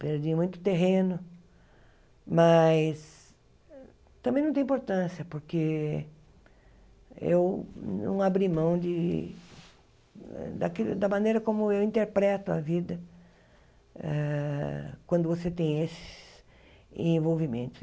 Perdi muito terreno, mas também não tem importância, porque eu não abri mão de daqui da maneira como eu interpreto a vida ah quando você tem esses envolvimentos.